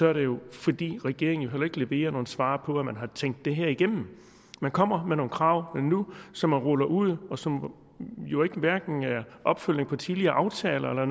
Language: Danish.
er det jo fordi regeringen heller ikke leverer nogen svar på at man har tænkt det her igennem man kommer med nogle krav nu som man ruller ud og som jo hverken er en opfølgning på tidligere aftaler eller